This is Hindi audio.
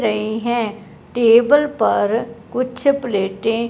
रही हैं टेबल पर कुछ प्लेटें --